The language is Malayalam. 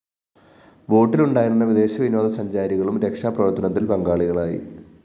ബോട്ടിലുണ്ടായിരുന്ന വിദേശ വിനോദസഞ്ചാരികളും രക്ഷാപ്രവര്‍ത്തനത്തില്‍ പങ്കാളികളായി